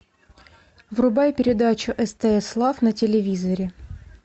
врубай передачу стс лав на телевизоре